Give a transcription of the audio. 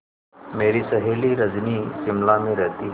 मेरी सहेली रजनी शिमला में रहती है